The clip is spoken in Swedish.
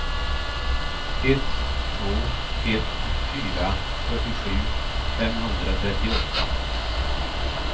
ett två ett fyra fyrtiosju femhundratrettioåtta